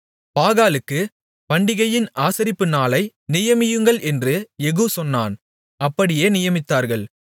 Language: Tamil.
பாகாலுக்குப் பண்டிகையின் ஆசரிப்பு நாளை நியமியுங்கள் என்று யெகூ சொன்னான் அப்படியே நியமித்தார்கள்